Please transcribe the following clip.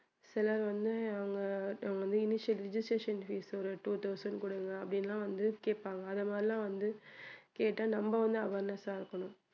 சிலர் வந்து அவங்க அவங்க வந்து registration fees ஒரு two thousand கொடுங்க அப்படின்னு எல்லாம் வந்து கேப்பாங்க அது மாதிரி எல்லாம் வந்து கேட்டா நம்ம வந்து awareness ஆ இருக்கணும்